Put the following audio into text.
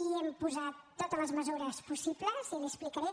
i hem posat totes les mesures possibles i li ho explicaré